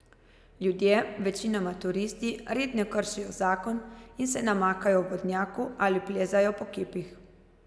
Ljudje, večinoma turisti, redno kršijo zakon in se namakajo v vodnjaku ali plezajo po kipih.